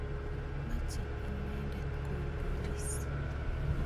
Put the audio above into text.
Mache inendet kondois.